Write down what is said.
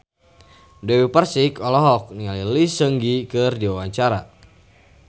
Dewi Persik olohok ningali Lee Seung Gi keur diwawancara